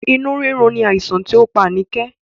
Inú rírun ni àìsàn ti o pá Anike